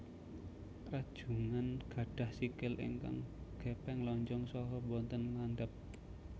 Rajungan gadhah sikil ingkang gépéng lonjong saha boten landhep